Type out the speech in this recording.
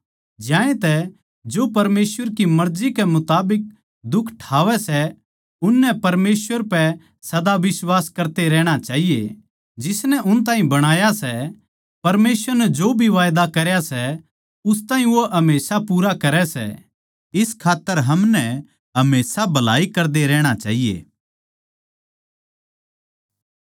ज्यांतै जो परमेसवर की मर्जी कै मुताबिक दुख ठावै सै उननै परमेसवर पै सदा बिश्वास करते रहणा चाहिए जिसनै उन ताहीं बणाया सै परमेसवर नै जो भी वादा करया सै उस ताहीं वो हमेशा पूरा करै सै इस खात्तर हमनै हमेशा भलाई करदे रहणा चाहिए